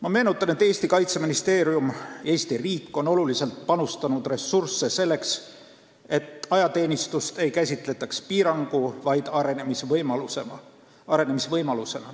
Ma meenutan, et Eesti Kaitseministeerium, Eesti riik on oluliselt ressursse panustanud selleks, et ajateenistust ei käsitletaks piirangu, vaid arenemisvõimalusena.